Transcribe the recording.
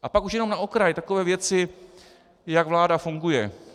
A pak už jenom na okraj takové věci, jak vláda funguje.